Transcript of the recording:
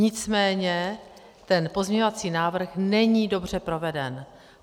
Nicméně ten pozměňovací návrh není dobře proveden.